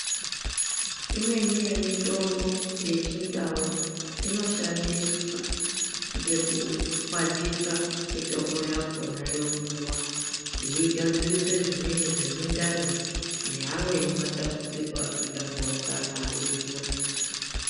Imweni ye mitombo yechi ndau ino shandiswa ngeku kwatisa mitombo yakona yo mwiwa yei gadzirise zvimweni zve mindani ne amweni ma tambudziko aka tandaukana ari mumu ganga.